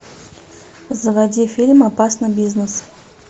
заводи фильм опасный бизнес